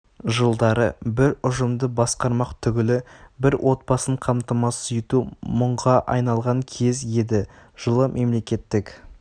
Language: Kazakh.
жылдары бір ұжымды басқармақ түгілі бір отбасын қамтамасыз ету мұңға айналған кез еді жылы мемлекеттік